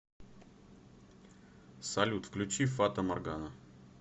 салют включи фата моргана